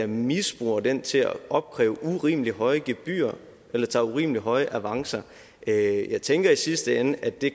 misbruger den til at opkræve urimelig høje gebyrer eller tager urimelig høje avancer jeg jeg tænker i sidste ende at det